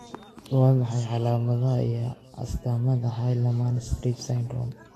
Waa maxay calaamadaha iyo astaamaha Hallermann Streiff syndrome?